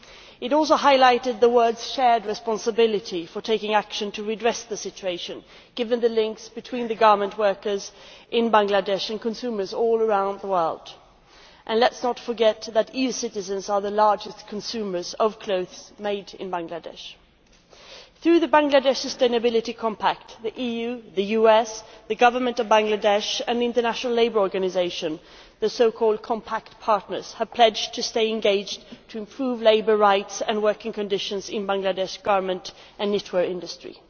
It also highlighted the world's shared responsibility for taking action to redress the situation, given the links between the garment workers in Bangladesh and consumers all around the world. And let us not forget that EU citizens are the largest consumers as regards clothes made in Bangladesh. Through the Bangladesh Sustainability Compact, the EU, the US, the government of Bangladesh and the International Labour Organisation, referred to as the compact partners', have pledged their engagement to improve labour rights and working conditions in the Bangladesh garment and knitwear industry.